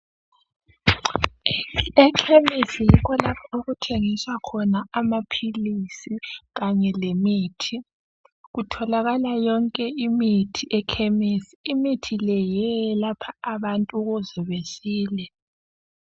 Ekhemisi yikho lapho okuthengiswa khona amaphilisi kanye lemithi kutholakala yonke imithi ekhemisi imithi le yiyo eyelapha abantu ukuze besile.